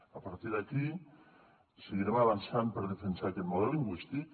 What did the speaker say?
a partir d’aquí seguirem avançant per defensar aquest model lingüístic